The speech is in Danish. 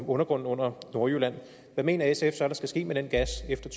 undergrunden under nordjylland hvad mener sf så der skal ske med den gas efter